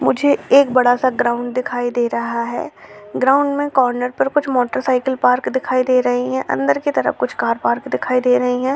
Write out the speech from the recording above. मुझे एक बड़ा-सा ग्राउंड दिखाई दे रहा है ग्राउंड में कॉर्नर पर कुछ मोटर साइकल पार्क दिखाई दे रहे है अंदर की तरफ कुछ कार पार्क दिखाई दे रही है।